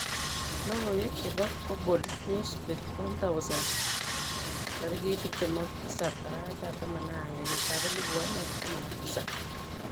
Logoiwek chebo Glabal Newsbeat 1000 27/11/2017.